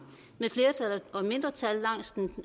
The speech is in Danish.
med flertal og mindretal langs den